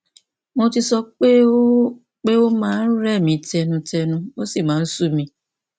mo ti sọ pé ó pé ó máa ń rẹ mí tẹnutẹnu ó sì máa ń sú mi